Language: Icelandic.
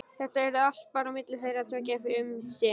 Þetta yrði bara á milli þeirra tveggja fyrst um sinn.